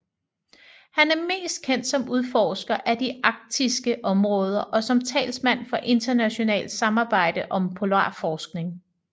Han er mest kendt som udforsker af de arktiske områder og som talsmand for internationalt samarbejde om polarforskning